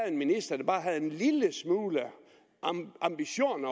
en minister der bare havde en lille smule ambition